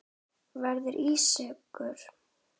Verða ískur.